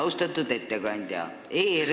Austatud ettekandja!